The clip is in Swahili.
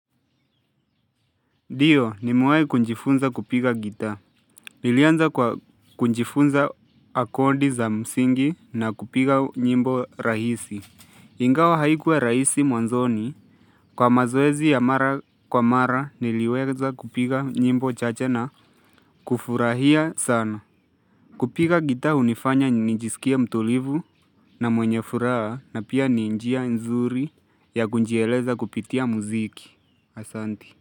Ndio nimewai kunjifunza kupiga gita. Nilianza kwa kunjifunza akodi za msingi na kupiga nyimbo rahisi. Ingawa haikuwa rahisi mwanzoni. Kwa mazoezi ya mara kwa mara niliweza kupiga nyimbo chache na kufurahia sana. Kupiga gita unifanya nijisikia mtulivu na mwenye furaha na pia ni njia nzuri ya kunjieleza kupitia muziki. Asanti.